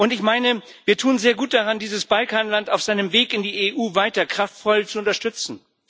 Ich meine, wir tun sehr gut daran, dieses Balkanland auf seinem Weg in die EU weiter kraftvoll zu unterstützen.